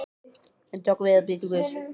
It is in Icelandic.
Ég doka við og bið til guðs.